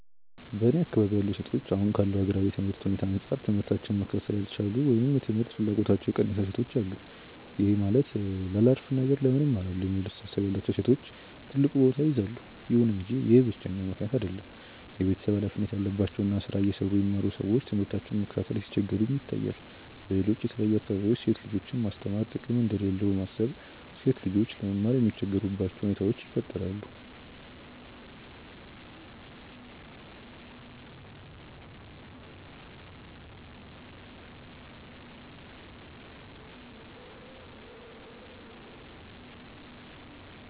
በእኔ አካባቢ ያሉ ሴቶች አሁን ካለው ሀገራዊ የትምህርት ሁኔታ አንጻር ትምህታቸውን መከታተል ያልቻሉ ወይም የትምህርት ፍላጎታቸው የቀነሰ ሴቶች አሉ። ይህም ማለት ላላፍ ነገር ለምን እማራለሁ የሚለው አስተሳሰብ ያላቸው ሴቶች ትልቁን ቦታ ይይዛሉ። ይሁን እንጂ ይህ ብቸኛው ምክንያት አይደለም። የቤተሰብ ሀላፊነት ያለባቸው እና ስራ እየሰሩ የሚማሩ ሰዎች ትምህርታቸውን ለመከታተል ሲቸገሩም ይታያል። በሌሎች የተለያዩ አካባቢዎች ሴት ልጆችን ማስተማር ጥቅም እንደሌለው በማሰብ ሴት ልጆች ለመማር የሚቸገሩባቸው ሁኔታዎች ይፈጠራሉ።